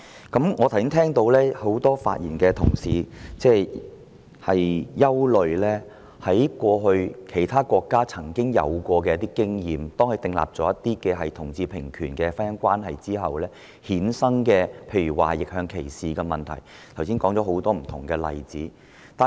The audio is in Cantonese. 剛才聽到很多發言的同事均憂慮到按照其他國家的過往經驗，訂立同志平權婚姻關係的政策後會衍生若干問題，例如逆向歧視，他們並舉出很多不同例子以作說明。